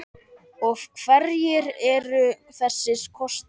Og hverjir eru þessir kostir?